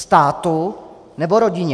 Státu, nebo rodině?